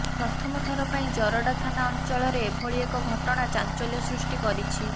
ପ୍ରଥମ ଥର ପାଇଁ ଜରଡ଼ା ଥାନା ଅଞ୍ଚଳରେ ଏଭଳି ଏକ ଘଟଣା ଚାଞ୍ଚଲ୍ୟ ସୃଷ୍ଟି କରିଛି